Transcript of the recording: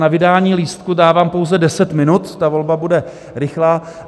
Na vydání lístků dávám pouze 10 minut, ta volba bude rychlá.